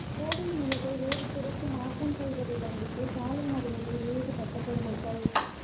கோயில் நிலத்தை வேறு துறைக்கு மாற்றம் செய்வதைக் கண்டித்து சாலை மறியலில் ஈடுபட்ட பொதுமக்கள்